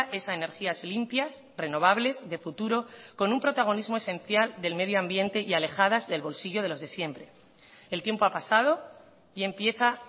es a energías limpias renovables de futuro con un protagonismo esencial del medio ambiente y alejadas del bolsillo de los de siempre el tiempo ha pasado y empieza